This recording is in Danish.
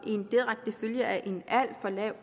er en direkte følge af en